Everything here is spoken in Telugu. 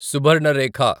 సుబర్ణరేఖ